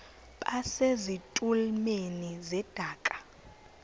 base zitulmeni zedaka